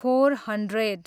four hundred